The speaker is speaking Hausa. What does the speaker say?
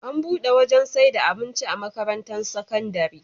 Ana buɗe wajan saida abinci a makarantar sakandari